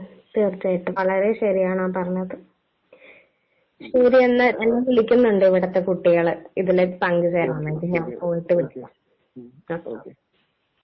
തീർച്ചയായിട്ടും. വളരെ ശരിയാണ് ആ പറഞ്ഞത്. ശരിയെന്നാ. എന്നെ വിളിക്കുന്നുണ്ട് ഇവിടത്തെ കുട്ടികള് . ഇതിലേക്ക് പങ്ക് ചേരാനായിട്ട്. ഞാൻ പോയിട്ട് വിളിക്കാം,